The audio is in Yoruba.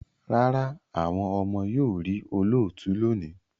Rárá, àwọn ọmọ yóò rí olóòtú lónìí